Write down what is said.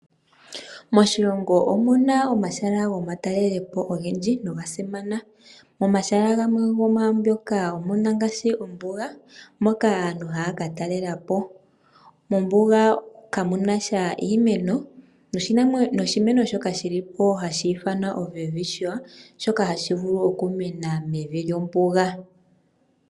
Moshilongo omu na omahala gomatalelo po ogendji noga simana. Momahala gamwe gomwaambyoka omu na ngaashi ombuga, moka aantu haa ka talela po. Mombuga kamu na sha iimeno, noshimeno shoka shi li po hashi ithanwa oWelwitchia, shoka hashi vulu okumena mevi lyombuga.